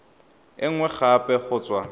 e nngwe gape go tswa